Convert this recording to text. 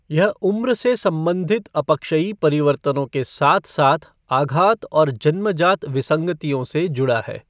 यह उम्र से संबंधित अपक्षयी परिवर्तनों के साथ साथ आघात और जन्मजात विसंगतियों से जुड़ा है।